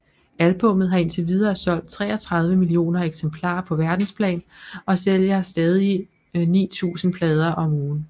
Albummet har indtil videre solgt treogtredive millioner eksemplarer på verdensplan og sælger stadig 9000 plader om ugen